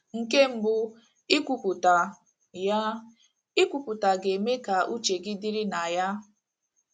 Nke mbụ, ikwupụta ya ekwupụta ga - eme ka uche gị dịrị na ya.